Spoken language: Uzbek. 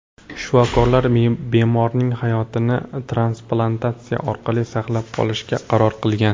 Shifokorlar bemorning hayotini transplantatsiya orqali saqlab qolishga qaror qilgan.